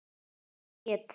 Sú hét